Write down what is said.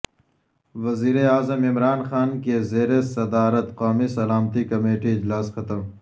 وزیراعظم عمران خان کے زیر صدارت قومی سلامتی کمیٹی اجلاس ختم